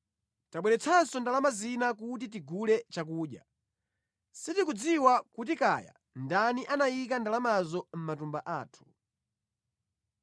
Tabweretsanso ndalama zina kuti tigule chakudya. Sitikudziwa kuti kaya ndani anayika ndalamazo mʼmatumba athu.”